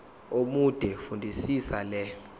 omude fundisisa le